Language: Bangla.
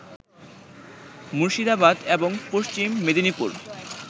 মুর্শিদাবাদ এবং পশ্চিম মেদিনীপুর